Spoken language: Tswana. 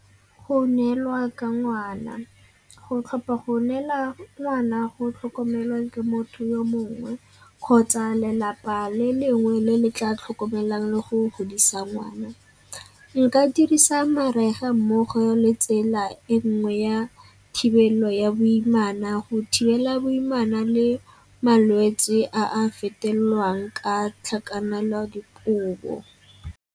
Go neelwa ka ngwana. Go tlhopha go neela ngwana go tlhokomelwa ke motho yo mongwe kgotsa lelapa le lengwe le le tla tlhokomelang le go godisa ngwana. Nka dirisa mariga mmogo le tsela e nngwe ya thibelo ya boimana go thibela boimana le malwetsi a a fetelelwang ka tlhakanelodikobo.